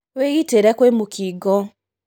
Wĩgitĩre kwĩmũkingo.